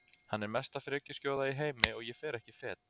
Hann er mesta frekjuskjóða í heimi og ég fer ekki fet